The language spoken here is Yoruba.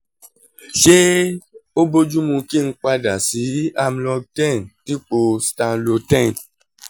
ṣé ó bójú mu kí n padà sí amlong ten dípò stamlo ten